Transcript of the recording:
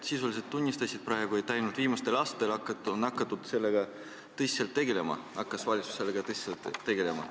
Sisuliselt sa tunnistasid praegu, et alles viimastel aastatel on valitsus hakanud selle probleemiga tõsiselt tegelema.